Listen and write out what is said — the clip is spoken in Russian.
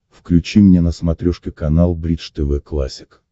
включи мне на смотрешке канал бридж тв классик